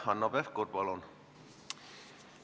Hanno Pevkur, palun!